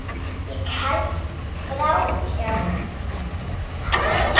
Ég hélt framhjá henni.